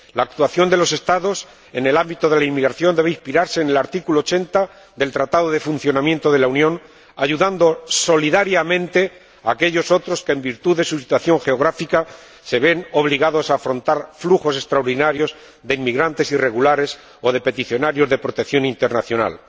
La actuación de los Estados en el ámbito de la inmigración debe inspirarse en el artículo 80 del Tratado de Funcionamiento de la Unión Europea, ayudando solidariamente a aquellos otros que, en virtud de su situación geográfica, se ven obligados a afrontar flujos extraordinarios de inmigrantes irregulares o de peticionarios de protección internacional.